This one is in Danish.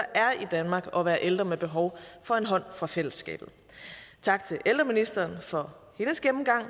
er i danmark at være ældre med behov for en hånd fra fællesskabet tak til ældreministeren for hendes gennemgang